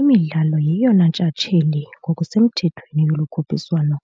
iMidlalo yeyona ntshatsheli ngokusemthethweni yolu khuphiswano.